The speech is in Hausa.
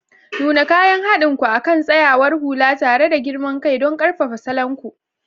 Nuna kayan haɗin ku akan tsayawar hula tare da girman kai don ƙarfafa salon ku.